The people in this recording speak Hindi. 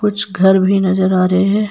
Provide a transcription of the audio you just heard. कुछ घर भी नजर आ रहे है।